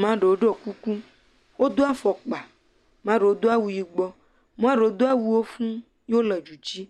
maɖewo ɖɔ kuku. Wodo afɔkpa. Maɖewo do awu yibɔ wo do awuwo fu ye wole du dzi.